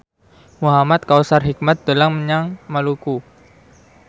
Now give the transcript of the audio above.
Muhamad Kautsar Hikmat dolan menyang Maluku